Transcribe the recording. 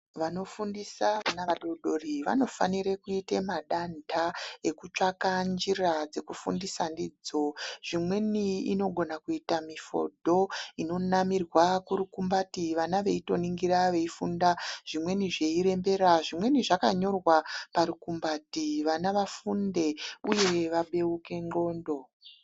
Vanofundisa vana vadodori vanofanire kuite madanta ekutsvaka njira dzekufundisa ndidzo. Zvimweni inogona kuita mifodho inonamirwa kurukumbati vana veitoningira veifunda zvimweni zveirembera zvimweni zvakanyorwa parumumbati vana vafunde uye vabeuke ndxondo.